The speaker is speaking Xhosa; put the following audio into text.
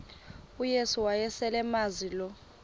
uyesu wayeselemazi lo